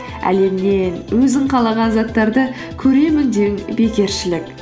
әлемнен өзің қалаған заттарды көремін деу бекершілік